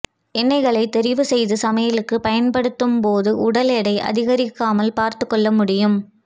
எண்ணெய்களை தெரிவுசெய்து சமையலுக்கு பயன்படுத்தும் போது உடல் எடை அதிகரிக்காமல் பார்த்துக்கொள்ள முடியும்